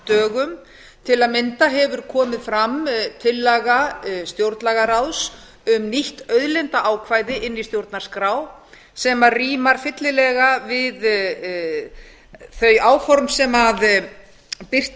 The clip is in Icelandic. haustdögum til að mynda hefur komið fram tillaga stjórnlagaráðs um nýtt auðlindaákvæði inn í stjórnarskrá sem rímar fyllilega við þau áform sem birt